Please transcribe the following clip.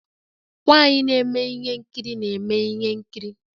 Nwanyị na-eme ihe nkiri na-eme ihe nkiri